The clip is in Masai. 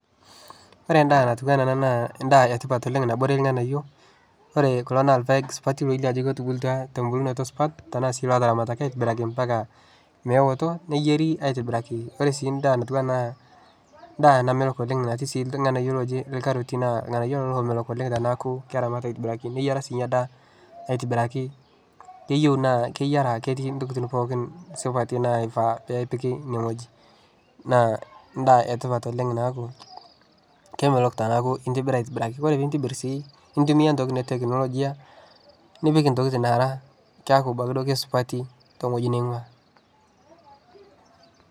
Ore endaa natiu enaa ena naa endaa e tipat oleng' nabore irng'anayio, ore kulo naa irpaek supati elio ajo ketubulutua te mbulunoto supat tenaa sii lootaramataki aitibiraki mpaka meoto, neyieri aitibiraki. Ore sii endaa natiu enaa ena ndaa namelok oleng' natii sii irng'anyio looji inkaroti naa irng'anyio lelo loomelok oleng' tenaaku keramati aitibiraki, neyiara siinye daa aitibiraki. Keyeu naa keyiara ketii intokitin pookin supati naifaa napiki ine wueji naa ndaa e tipat oleng' naaku kemelok tenaaku intibira aitibiraki. Kore piintibir sii nintumia intokitin e teknolojia nipik intokitin naara keeku kesupati te wueji ning'ua.